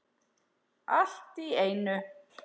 Allt í einu.